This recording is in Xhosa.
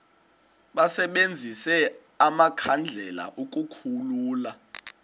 basebenzise amakhandlela ukukhulula